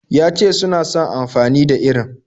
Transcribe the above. Ya ce suna son amfani da irin.